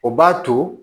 O b'a to